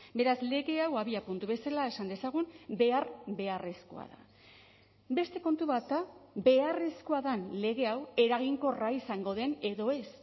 beraz lege hau abiapuntu bezala esan dezagun behar beharrezkoa da beste kontu bat da beharrezkoa den lege hau eraginkorra izango den edo ez